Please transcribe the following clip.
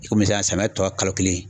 I komi sisan samiyɛ tɔ kalo kelen